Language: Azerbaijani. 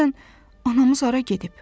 Görəsən, anamız hara gedib?